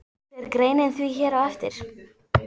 Fer greinin því hér á eftir.